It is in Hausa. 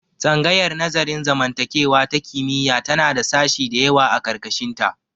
Tsangayar nazarin zamantakewa ta kimiyya tana da sashi dayawa a ƙarƙashin ta.